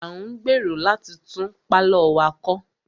A ń gbèrò láti tún pálọ̀ wa kọ́.